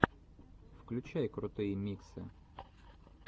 включай крутые миксы